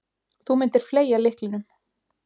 Þú myndir fleygja lyklinum.